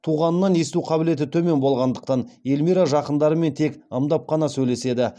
туғанынан есту қабілеті төмен болғандықтан эльмира жақындарымен тек ымдап қана сөйлеседі